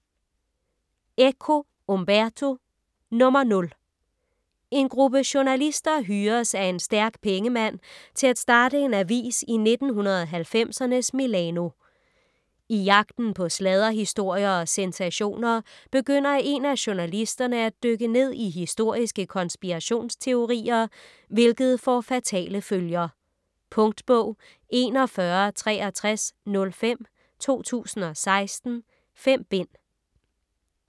Eco, Umberto: Nr. 0 En gruppe journalister hyres af en stærk pengemand til at starte en avis i 1990'ernes Milano. I jagten på sladderhistorier og sensationer begynder en af journalisterne at dykke ned i historiske konspirationsteorier, hvilket får fatale følger. Punktbog 416305 2016. 5 bind.